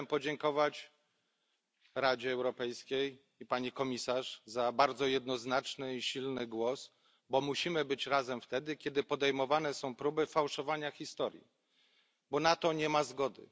Chciałbym podziękować Radzie Europejskiej i pani komisarz za bardzo jednoznaczny i silny głos, bo musimy być razem wtedy, kiedy podejmowane są próby fałszowania historii, bo na to nie ma zgody.